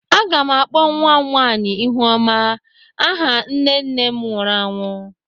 M ga-akpọ nwa m nwanyị "Ihuoma" aha nne nne m nwụrụ anwụ.